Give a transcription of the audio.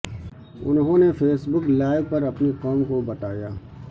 انہوں نے facebook live پر اپنی قوم کو بتایا